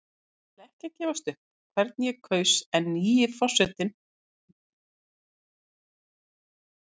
Ég ætla ekki að gefa upp hvern ég kaus en nýi forsetinn lítur vel út.